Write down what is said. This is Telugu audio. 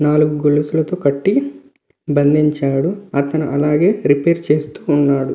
నాలుగు గొలుసులతో కట్టి బంధించారు అతను అలానే రిపేర్ చేస్తున్నాడు.